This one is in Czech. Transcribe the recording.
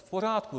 V pořádku.